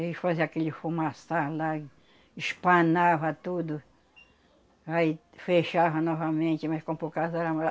Eles faziam aquele fumaça lá e, espanava tudo, aí fechava novamente, mas com poucas.